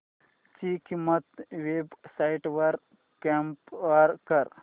ची किंमत websites वर कम्पेअर कर